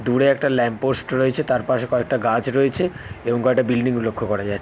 দূরে একটা ল্যাম্পপোস্ট রয়েছে তার পাশে কয়েকটা গাছ রয়েছে এবং কয়টা বিল্ডিং -ও লক্ষ্য করা যা--